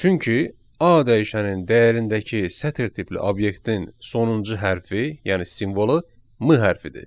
Çünki A dəyişənin dəyərindəki sətr tipli obyektin sonuncu hərfi, yəni simvolu M hərfidir.